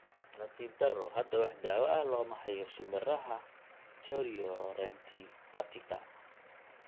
Nasiib darro, hadda wax daawo ah looma hayo shinbiraha chorioretinipatiga.